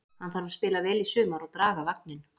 Hann þarf að spila vel í sumar og draga vagninn.